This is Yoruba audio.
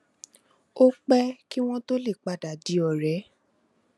ó pé kí wón tó lè padà di òré